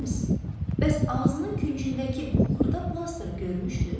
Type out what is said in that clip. Miss, bəs ağzının küncündəki bu xırda plastırı görmüşdüz?